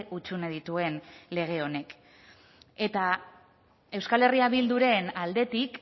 hutsune dituen lege honek eta euskal herria bilduren aldetik